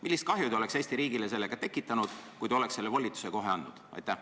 Millist kahju te oleksite Eesti riigile sellega tekitanud, kui te oleksite selle volituse kohe andnud?